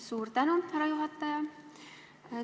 Suur tänu, härra juhataja!